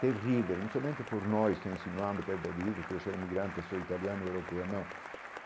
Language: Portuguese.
Terrível, não somente por estar insinuando, porque eu sou imigrante, sou italiano e europeu, não.